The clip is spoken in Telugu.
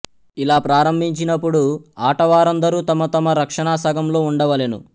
ఇలా ప్రారంభించినపుడు ఆటవారందరూ తమ తమ రక్షణా సగంలో ఉండవలెను